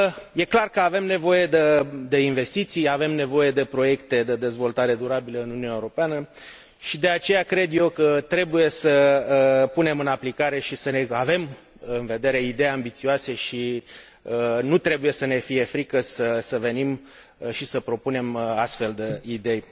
E clar că avem nevoie de investiții, avem nevoie de proiecte de dezvoltare durabilă în Uniunea Europeană și, de aceea, cred eu că trebuie să punem în aplicare și să avem în vedere idei ambițioase și nu trebuie să ne fie frică să venim și să propunem astfel de idei.